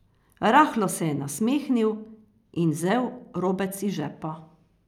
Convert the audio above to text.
Rahlo se je nasmehnil in vzel robec iz žepa.